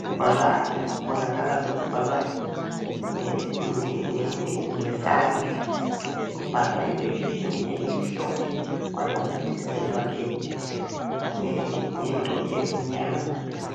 kubhalwa kubonakala ngesandla. Kubhalwe ephepheni elimhlophe kwanamathiselwa ngento emnyama.